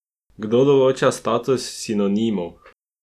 Kdo določa status sinonimov?